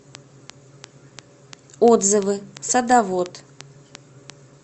отзывы садовод